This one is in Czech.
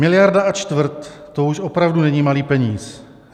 Miliarda a čtvrt, to už opravdu není malý peníz.